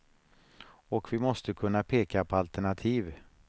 Och vi måste kunna peka på alternativ.